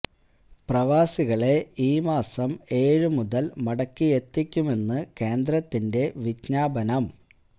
പ്രവാസികളെ ഈ മാസം ഏഴ് മുതൽ മടക്കി എത്തിക്കുമെന്ന് കേന്ദ്രത്തിൻ്റെ വിജ്ഞാപനം